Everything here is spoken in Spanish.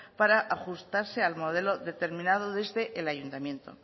para ajustarse al modelo determinado desde el ayuntamiento